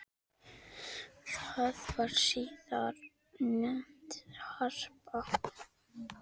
Það var síðar nefnt Harpa.